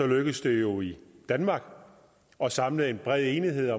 lykkes det jo i danmark at samle en bred enighed